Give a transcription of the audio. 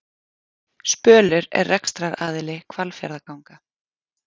Spölur er rekstraraðili Hvalfjarðarganga